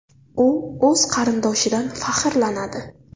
U o‘z qarindoshidan faxrlanadi.